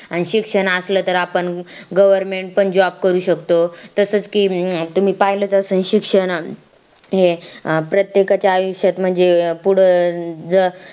आणि शिक्षण असलं तर आपण governmentJOB करू शकतो तसंच कि तुम्ही पाहिलं च असलं कि शिक्षण हे प्रत्येकच्या आयुष्यात म्हणजे पुढ